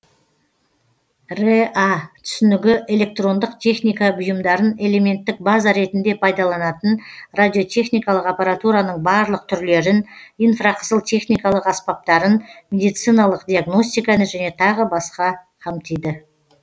рэа түсінігі электрондық техника бұйымдарын элементтік база ретінде пайдаланатын радиотехникалық аппаратураның барлық түрлерін инфрақызыл техникалық аспаптарын медициналық диагностиканы және тағы басқа қамтиды